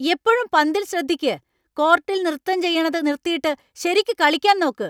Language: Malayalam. എപ്പഴും പന്തിൽ ശ്രദ്ധിയ്ക്ക്! കോർട്ടിൽ നൃത്തം ചെയ്യണത് നിർത്തിട്ട് ശരിയ്ക്ക് കളിയ്ക്കാൻ നോക്ക്.